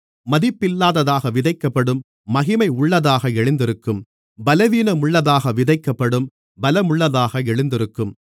மதிப்பில்லாததாக விதைக்கப்படும் மகிமையுள்ளதாக எழுந்திருக்கும் பலவீனமுள்ளதாக விதைக்கப்படும் பலமுள்ளதாக எழுந்திருக்கும்